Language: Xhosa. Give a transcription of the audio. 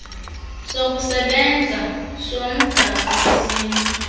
sokusebenza somgaqo wesini